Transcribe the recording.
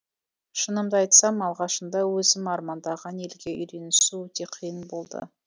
шынымды айтсам алғашында өзім армандаған елге үйренісу өте қиын болды